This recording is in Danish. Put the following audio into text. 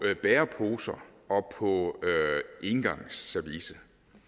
bæreposer og på engangsservice